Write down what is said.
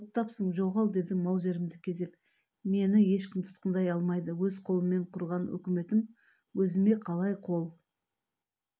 оттапсың жоғал дедім маузерімді кезеп мен ешкім тұтқындай алмайды өз қолыммен құрған үкіметім өзіме қалай қол